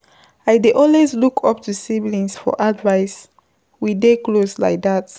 I dey always look up to siblings for advice we dey close like dat.